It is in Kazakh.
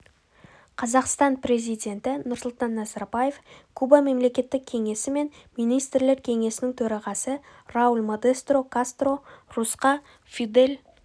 қазақстан президенті нұрсұлтан назарбаев куба мемлекеттік кеңесі мен министрлер кеңесінің төрағасы рауль модестро кастро русқа фидель